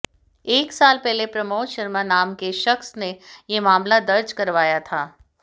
एक साल पहले प्रमोद शर्मा नाम के शख्स ने ये मामला दर्ज करवाया था